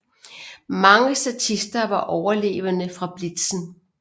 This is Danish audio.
Mange statister var overlevende fra Blitzen